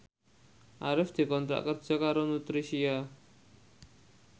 Arif dikontrak kerja karo Nutricia